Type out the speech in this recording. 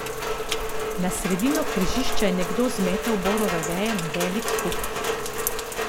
Na sredino križišča je nekdo zmetal borove veje na velik kup.